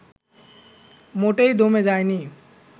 মোটেই দমে যায়নি